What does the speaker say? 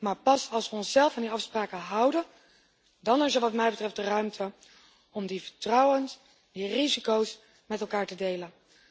Maar pas als we onszelf aan die afspraken houden, dan is er wat mij betreft de ruimte om in vertrouwen die risico's met elkaar te delen.